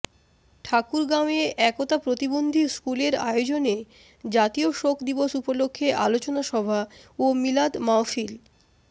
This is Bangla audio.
ঠাকুরগাঁওয়ে একতা প্রতিবন্ধী স্কুল এর আয়োজনে জাতীয় শোক দিবস উপলক্ষে আলোচনা সভা ও মিলাদ মাহফিল